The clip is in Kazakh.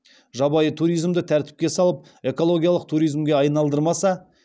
жабайы туризмді тәртіпке салып экологиялық туризмге айналдырмаса